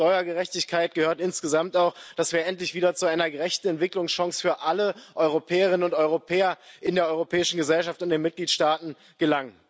Denn zur Steuergerechtigkeit gehört insgesamt auch, dass wir endlich wieder zu einer gerechten Entwicklungschance für alle Europäerinnen und Europäer in der europäischen Gesellschaft, in den Mitgliedstaaten gelangen.